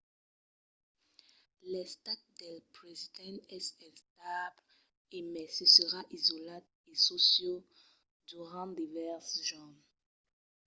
l'estat del president es estable e mai se serà isolat en çò sieu durant divèrses jorns